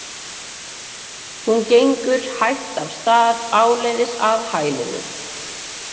Hún gengur hægt af stað áleiðis að hælinu.